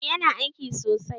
Eh yana aiki sosai